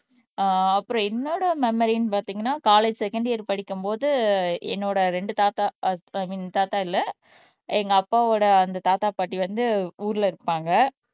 ஆஹ் அப்புறம் என்னோட மெமரின்னு பாத்தீங்கன்னா காலேஜ் செகண்ட் இயர் படிக்கும் போது என்னோட ரெண்டு தாத்தா ஐ மீன் தாத்தா இல்ல எங்க அப்பாவோட அந்த தாத்தா பாட்டி வந்து ஊர்ல இருப்பாங்க